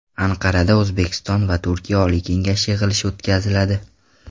Anqarada O‘zbekiston va Turkiya Oliy kengashi yig‘ilishi o‘tkaziladi.